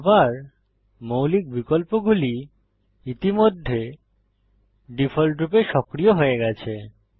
আবার মৌলিক বিকল্পগুলি ইতিমধ্যে ডিফল্টরূপে সক্রিয় হয়ে গেছে